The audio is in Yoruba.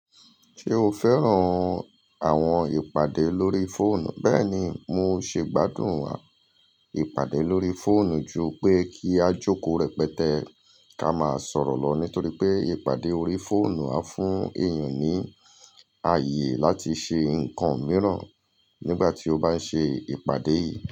Ṣé o fẹ́ràn àwọn ìpàdé lórí fóònù? Bẹ́ẹ̀ni, mo ṣe gbádùn wa ìpàdé lórí fóònù ju pé kí a jókòó rẹpẹtẹ ká máa sọ̀rọ̀ lọ nítorí pé ìpàdé orí fóònù á fún èèyàn ní àyè láti ṣe ǹkan mìíràn nígbà tí ó bá ń ṣe ìpàdé yìí.